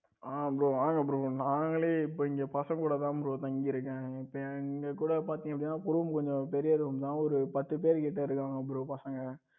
ஆ bro வாங்க bro நாங்களே இப்ப இங்க பசங்க கூட தான் தங்கி இருக்கேன் இப்ப எங்க கூட பாத்தீங்கன்னா அப்படின்னா room கொஞ்சம் பெரிய room தான் ஒரு பத்து பேர் கிட்ட இருக்காங்க bro பசங்க